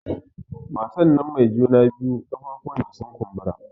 Matan nan mai juna biyu ƙafafuwan ta sun kumbura